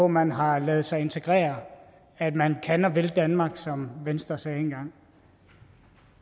man har ladet sig integrere at man kan og vil danmark som venstre sagde engang